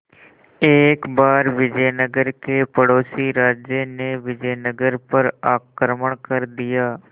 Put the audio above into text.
एक बार विजयनगर के पड़ोसी राज्य ने विजयनगर पर आक्रमण कर दिया